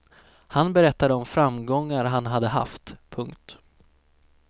Han berättade om framgångar han hade haft. punkt